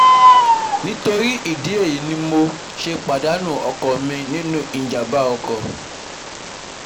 Nítorí ìdí èyí ni mo ni mo ṣe pàdánù ọkọ mi nínú ìjàmbá ọkọ̀